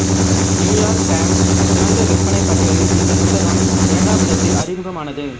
New York Times சிறந்த விற்பனை பட்டியலில் இந்த புத்தகம் இரண்டாமிடத்தில் அறிமுகமானது